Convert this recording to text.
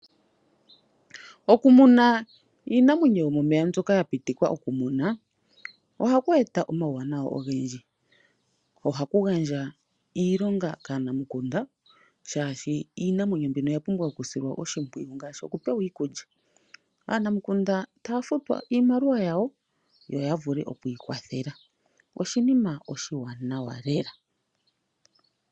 Okumuna iinamwenyo yomomeya mbyoka ya pitikwa okumunwa oha kweeta omauwanawa ogendji , ohaku gandja iilonga kana mukunda shashi iinamwenyo mbika oya pumbwa okusilwa oshipwiyu ngashi oku pewa iikulya , aanamikunda tafutwa iimaliwa yawo yo oya vule okwii kwathela oshina oshiwanawa lela.